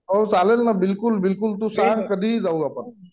हो चालेल ना बिलकुल बिलकुल तू सांग कधीही जाऊ आपण